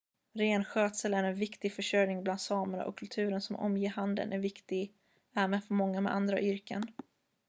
renskötsel är en viktig försörjning bland samerna och kulturen som omger handeln är viktig även för många med andra yrken